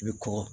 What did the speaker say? I bɛ kɔgɔ